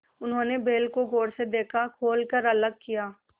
उन्होंने बैल को गौर से देखा खोल कर अलग किया